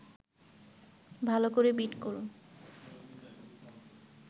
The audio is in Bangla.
ভালো করে বিট করুন